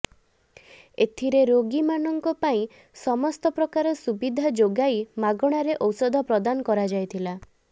ଏଥିରେ ରୋଗୀ ମାନଙ୍କ ପାଇଁ ସମସ୍ତ ପ୍ରକାର ସୁବିଧା ଯୋଗାଇ ମାଗଣାରେ ଔଷଧ ପ୍ରଦାନ କରାଯାଇଥିଲା